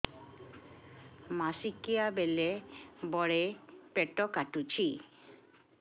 ମାସିକିଆ ବେଳେ ବଡେ ପେଟ କାଟୁଚି